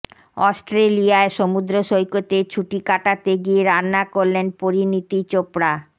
অস্ট্রেলিয়ায় সমুদ্র সৈকতে ছুটি কাটাতে গিয়ে রান্না করলেন পরিণীতি চোপড়া